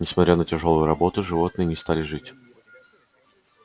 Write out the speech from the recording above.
несмотря на тяжёлую работу животные не стали жить